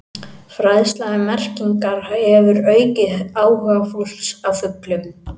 Fræðsla um merkingar hefur aukið áhuga fólks á fuglum.